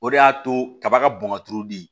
O de y'a to kaba ka bɔn ka turu di